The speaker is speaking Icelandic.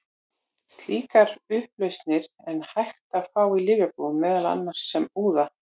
Slíkar upplausnir er hægt að fá í lyfjabúðum, meðal annars sem úða.